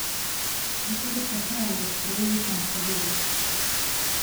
Nekaj let kasneje je sprejel islamsko vero.